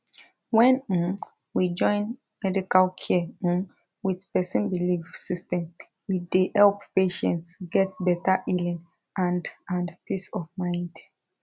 when um we join medical care um with person belief system e dey help patients get better healing and and peace of mind